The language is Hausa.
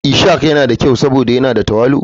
Ishak yana da kyau saboda yana da tawali'u.